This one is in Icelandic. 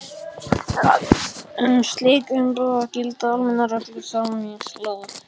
Um slík umboð gilda almennar reglur samningalaga.